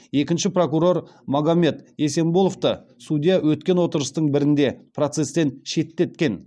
екінші прокурор магомед есенболовты судья өткен отырыстың бірінде процесстен шеттеткен